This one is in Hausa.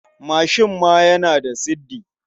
Mashin ma yana da siddi.